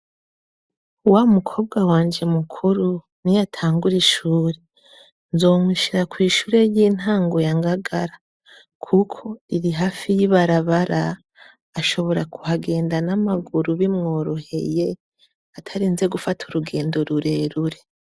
Wa mukobwa wanje mukuru niyatangura ishure nzomushira kw'ishure ry'intango ya Ngagara kuko iri hafi y'ibarabara ashobora kuhagenda n'amaguru bimworoheye atarinze gufata urugendo rurerure.